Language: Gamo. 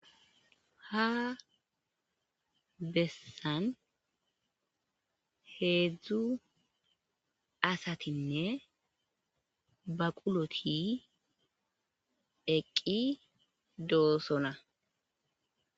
ha bessan heedzdzu asatinne baquloti eqqi doosona.